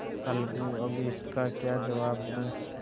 अलगूअब इसका क्या जवाब दूँ